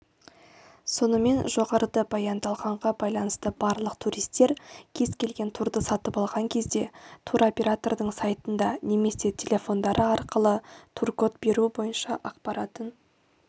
сонымен жоғарыда баяндалғанға байланысты барлық туристер кез келген турды сатып алған кезде туроператордың сайтында немесе телефондары арқылы тур-код беру бойынша ақпаратын